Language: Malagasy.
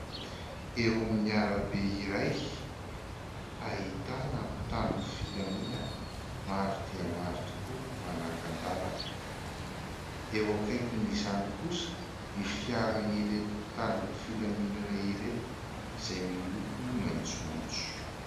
Eo amin'ny arabe iray ahitana mpitandron'ny filaminana maro dia maro tokoa manakan-dàlana. Eo akaikin'izany kosa ny fiaran'ireto mpitandron'ny filaminana ireto izay miloko maitsomaitso.